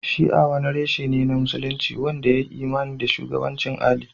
Shi'a wani reshe ne na Musulunci wanda ya yi imani da shugabancin Ali